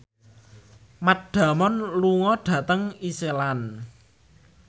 Matt Damon lunga dhateng Iceland